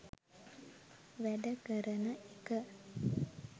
වැඩ කරන එක